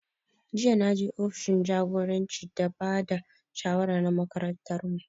Jiya na je ofishin jagoranci da ba da shawara na makarantar mu